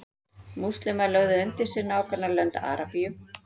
múslímar lögðu undir sig nágrannalönd arabíu